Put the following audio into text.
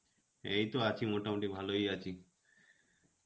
এই তো আছি, মোটামুটি ভালোই আছি.